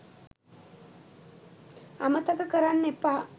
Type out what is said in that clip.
අමතක කරන්න එපා